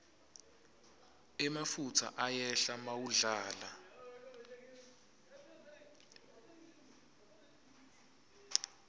emafutsa ayehla mawudlala